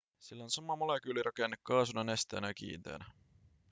sillä on sama molekyylirakenne kaasuna nesteenä ja kiinteänä